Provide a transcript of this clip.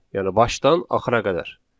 Yəni başdan axıra qədər.